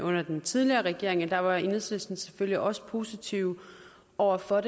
under den tidligere regering der var enhedslisten selvfølgelig også positive over for